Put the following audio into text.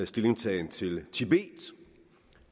stillingtagen til tibet